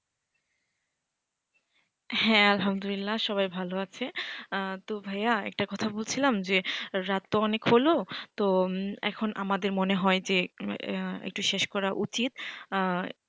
হ্যাঁ আলহামদুলিল্লাহ সবাই ভালো আছে তো ভাইয়া একটা কথা বলছিলাম যে রাত তো অনেক হলো তো এখন আমাদের মনে হয়েছে একটু শেষ করা উচিত।